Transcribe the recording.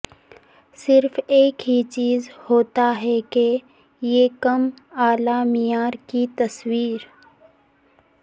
صرف ایک ہی چیز ہوتا ہے کہ یہ کم اعلی معیار کی تصاویر